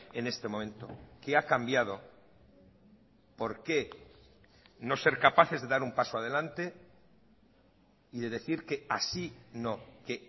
en este momento qué ha cambiado por qué no ser capaces de dar un paso adelante y de decir que así no que